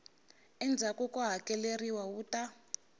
endzhaku ko hakeleriwa wu ta